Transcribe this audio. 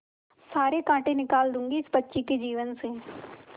सारे कांटा निकाल दूंगी इस बच्ची के जीवन से